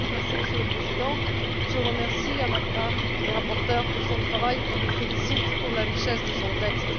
Monsieur le Président, je remercie à mon tour le rapporteur pour son travail et le félicite pour la richesse de son texte.